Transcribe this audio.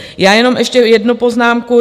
Já jenom ještě jednu poznámku.